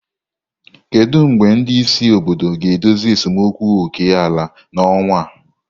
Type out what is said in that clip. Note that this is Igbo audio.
Kedu mgbe ndị isi obodo ga-edozi esemokwu oke ala n'ọnwa a?